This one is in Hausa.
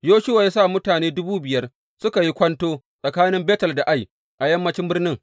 Yoshuwa ya sa mutum dubu biyar suka yi kwanto tsakanin Betel da Ai, a yammancin birnin.